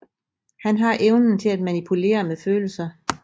Han har evnen til at manipulere med følelser